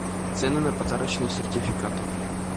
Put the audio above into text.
цены на подарочные сертификаты